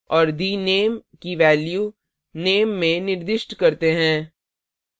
और the _ name की value name में निर्दिष्ट करते हैं